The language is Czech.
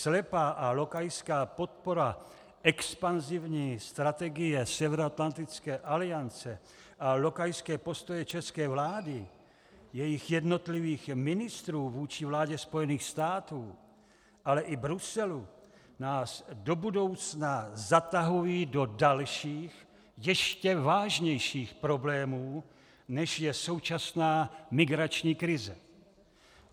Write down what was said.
Slepá a lokajská podpora expanzivní strategie Severoatlantické aliance a lokajské postoje české vlády, jejích jednotlivých ministrů, vůči vládě Spojených států, ale i Bruselu nás do budoucna zatahují do dalších, ještě vážnějších problémů, než je současná migrační krize.